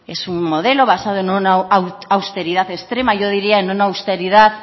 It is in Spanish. es un modelo basado en una austeridad extrema yo diría en una austeridad